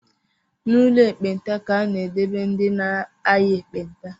N’ụlọ ndi ekpenta ka a na-edebe ndị na-aya ekpenta